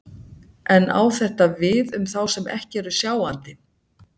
En á þetta við um þá sem ekki eru sjáandi?